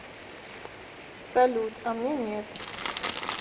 салют а мне нет